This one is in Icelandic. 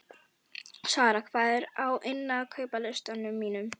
Sara, hvað er á innkaupalistanum mínum?